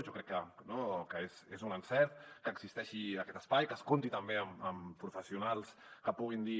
jo crec que és un encert que existeixi aquest espai que es compti també amb professionals que puguin dir